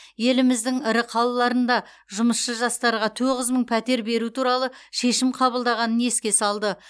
еліміздің ірі қалаларында жұмысшы жастарға тоғыз мың пәтер беру туралы шешім қабылданғанын еске салды